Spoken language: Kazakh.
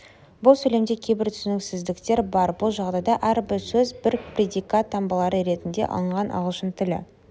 бұл сөйлемде кейбір түсініксіздіктер бар бұл жағдайда әрбір сөз бір предикат таңбалары ретінде алынған ағылшын тілі